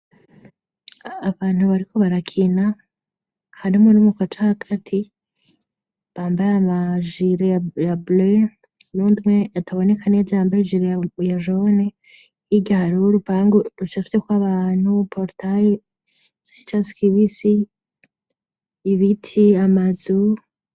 Abantu bariko barakina harimwo niumukacake ati bambaye amajileyable nundwe atabonekaniye jambaye jalyajone yigahari uw'urupangu ruca fyekw'abantu portale sancar ski bi si ibiti amazi zumbu.